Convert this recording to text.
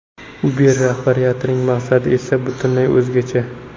Uber rahbariyatining maqsadi esa butunlay o‘zgacha.